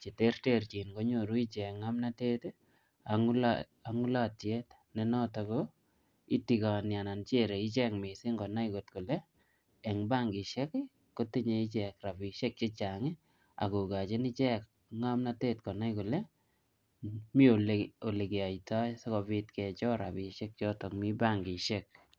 che terterchin konyoru ichek ngomnotet, ak um ngulotiet ne notok ko itigoni anan chere ichek missing konai kot kole eng bankishek, kotinye ichek rabisiek chechang, akokochin ichek ngomnotet konai kole, miy ole ole keyotoi sikobit kechor rabisiek chotok mi bankishek.